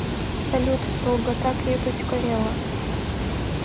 салют долгота крепость корела